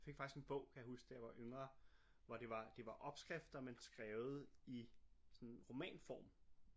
Fik faktisk en bog kan jeg huske da jeg var yngre hvor det var det var opskrifter men skrevet i sådan roman form